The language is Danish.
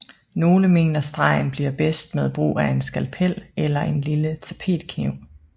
Nogle mener stregen bliver bedst med brug af en skalpel eller en lille tapetkniv